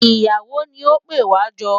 Ìyàwó ni ó pè wá jọ.